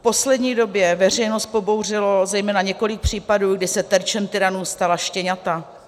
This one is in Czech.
V poslední době veřejnost pobouřilo zejména několik případů, kdy se terčem tyranů stala štěňata.